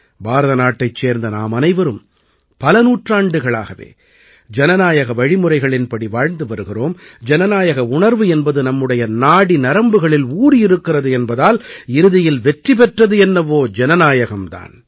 பாரத நாட்டைச் சேர்ந்த நாமனைவரும் பல நூற்றாண்டுகளாகவே ஜனநாயக வழிமுறைகளின்படி வாழ்ந்து வருகிறோம் ஜனநாயக உணர்வு என்பது நம்முடைய நாடிநரம்புகளில் ஊறியிருக்கிறது என்பதால் இறுதியில் வெற்றி பெற்றது என்னவோ ஜனநாயகம் தான்